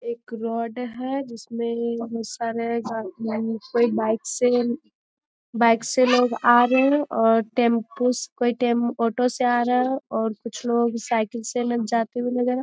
एक रोड है जिसमें बहुत सारे जहां कोई बाइक से बाइक से लोग आ रहे है और टेम्पु कोई टेम ऑटो से आ रहे है और कुछ लोग साइकिल से लोग जाते हुए नजर --